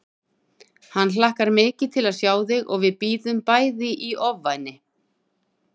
Hann hlakkar mikið til að sjá þig og við bíðum bæði í ofvæni